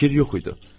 Fikir yox idi.